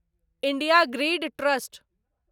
India grid trust